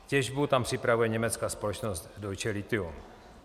Těžbu tam připravuje německá společnost Deutsche Lithium.